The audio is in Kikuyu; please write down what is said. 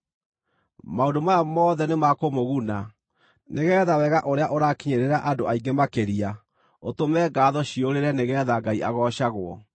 Maũndũ maya mothe nĩmakũmũguna, nĩgeetha wega ũrĩa ũrakinyĩrĩra andũ aingĩ makĩria ũtũme ngaatho ciyũrĩrĩre nĩgeetha Ngai agoocagwo.